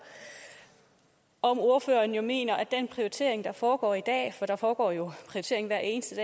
om ordføreren mener at den prioritering der foregår i dag for der foregår jo prioritering hver eneste